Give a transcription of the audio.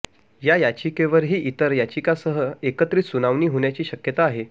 या याचिकेवरही इतर याचिकांसह एकत्रित सुनावणी होण्याची शक्यता आहे